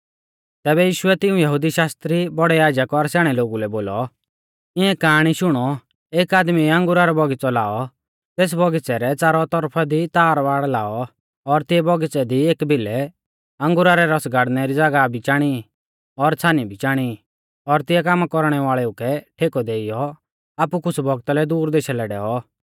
तैबै यीशुऐ तिऊं यहुदी शास्त्री बौड़ै याजक और स्याणै लोगु लै बोलौ इऐं काआणी शुणौ एक आदमीऐ अंगुरा रौ बौगिच़ौ लाऔ तेस बौगिच़ै रै च़ारौ तौरफा दी तारबाड़ लाऔ और तिऐ बौगिच़ै दी एकी भिलै अंगुरा रै रस गाड़नै री ज़ागाह भी चाणी और छ़ानी भी चाणी और तिऐ कामा कौरणै वाल़ेउ कै ठेकौ देइयौ आपु कुछ़ बौगता लै दूर देशा लै डैऔ